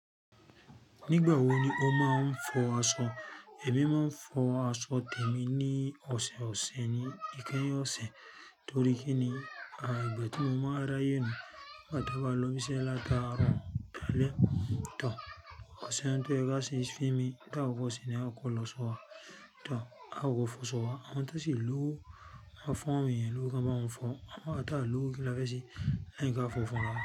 Nígbà wo ni o máa ń fọ aṣọ? Èmi máa n fo aṣọ témi ni ọsẹ ọsẹ ni ikeyin ose, tori kini ìgbà ti mo máa n ráyè nigba ti mo ba lo ibì iṣẹ lataro dálé tàbí ọ̀sẹ̀ kan tó dẹ ga si, fí mi dá ọkọ̀ sí i, ni a kọ́ lọ sọ́wọ́. Tàbí a kọ fò sọ́wọ́, a mọ̀ pé sì lówó a fọn wí, lówó kan bá n fọn, a ta lówó kí la fẹ́ sì, àìní kí a fò fọn wá.